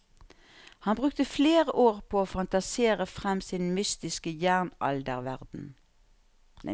Han brukte flere år på å fantasere frem sin mytiske jernalderverden.